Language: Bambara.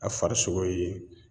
A farisogo ye